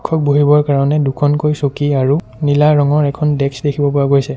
শিক্ষক বহিবৰ কাৰণে দুখনকৈ চকী আৰু নীলা ৰঙৰ এখন দেষ্ক দেখিব পোৱা গৈছে।